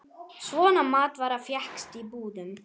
Svona matvara fékkst í búðum.